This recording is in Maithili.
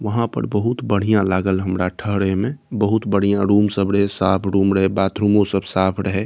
वहाँ पर बहुत बढ़िया लागल हमरा ठहरे में | बहुत बढ़िया रूम सब रहे साफ़ रूम रहे बाथरूमों सब साफ़ रहे |